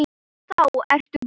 Þá ertu góður.